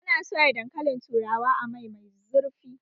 Ana soya dankalin turawa a mai mai zurfi